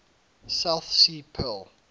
south sea pearl